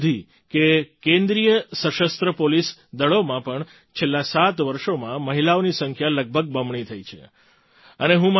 એટલે સુધી કે કેન્દ્રીય સશસ્ત્ર પોલીસ દળોમાં પણ છેલ્લાં સાત વર્ષોમાં મહિલાઓની સંખ્યા લગભગ બમણી થઈ છે